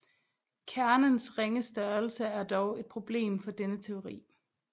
Kernens ringe størrelse er dog et problem for denne teori